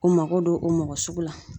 U mako don o mɔgɔ suku la.